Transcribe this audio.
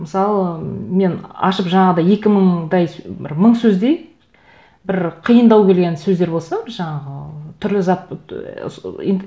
мысалы мен ашып жаңағыдай екі мыңдай бір мың сөздей бір қиындау келген сөздер болса жаңағы түрлі зат і